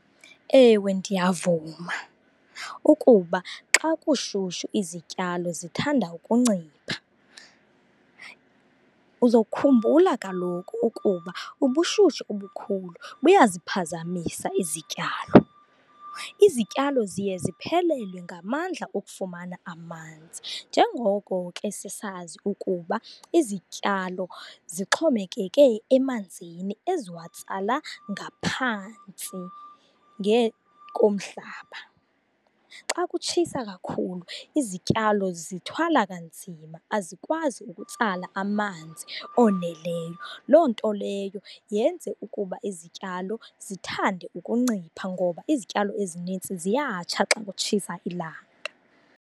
Ewe, ndiyavuma ukuba xa kushushu izityalo zithanda ukuncipha. Uzokhumbula kaloku ukuba ubushushu obukhulu buyaziphazamisa izityalo, izityalo ziye ziphelelwe ngamandla okufumana amanzi. Njengoko ke sisazi ukuba izityalo zixhomekeke emanzini eziwatsala ngaphantsi komhlaba, xa kutshisa kakhulu izityalo zithwala kanzima, azikwazi ukutsala amanzi oneleyo. Loo nto leyo yenze ukuba izityalo zithande ukuncipha ngoba izityalo ezinintsi ziyatsha xa kutshisa ilanga.